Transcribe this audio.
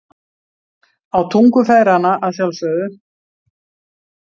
Á tungu feðranna að sjálfsögðu.